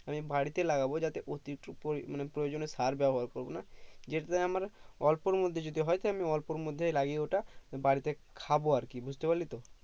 আমি বাড়িতে লাগাবো যাতে অতিরিক্ত পড়ি মানে প্রয়োজনে সার ব্যবহার করবো না যেটাতে আমার অল্পের মধ্যে যদি হয় হয়তো অল্পের মধ্যে লাগিয়ে ওটা বাড়িতে খাবো আরকি বুজতে পারলি তো